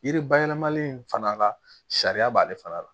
Yiri bayɛlɛmali in fana ka sariya b'ale fana la